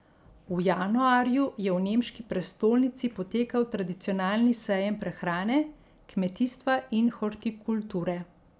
V januarju je v nemški prestolnici potekal tradicionalni sejem prehrane, kmetijstva in hortikulture.